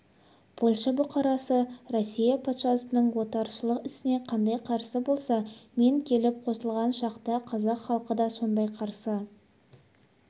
польша бұқарасы россия патшасының отаршылық ісіне қандай қарсы болса мен келіп қосылған шақта қазақ халқы да сондай қарсы